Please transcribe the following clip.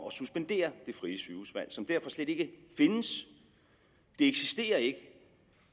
at suspendere det frie sygehusvalg som derfor slet ikke findes det eksisterer ikke